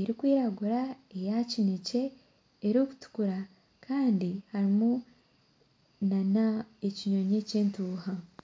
erikwiragura eyakinekye erikutukura Kandi harimu nana ekinyonyi ekyentuuha